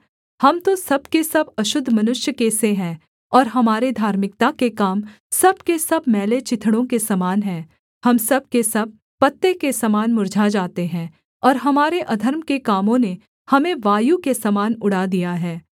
हम तो सब के सब अशुद्ध मनुष्य के से हैं और हमारे धार्मिकता के काम सब के सब मैले चिथड़ों के समान हैं हम सब के सब पत्ते के समान मुर्झा जाते हैं और हमारे अधर्म के कामों ने हमें वायु के समान उड़ा दिया है